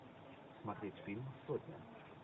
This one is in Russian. смотреть фильм сотня